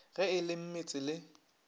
ge e le mmetse le